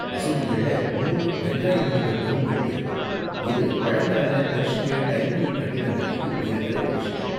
மசூதிகள்ல மூணு வெங்காய வடிவ டோம்கள் இருக்கும், இது பழங்கால பெர்ஷிய, டைமுரிட் கட்டிடங்கலையும் இருக்குற ஒரு விஷயம்.